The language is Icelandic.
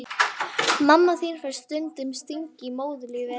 Mamma þín fær stundum stingi í móðurlífið.